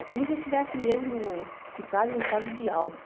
É como se eu tivesse mesmo ficado em um estado de alfa.